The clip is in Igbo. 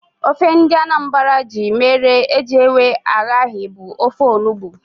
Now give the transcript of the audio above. Ofe ndị Anambra ji mere ejewe aghaghị bụ ofe onugbu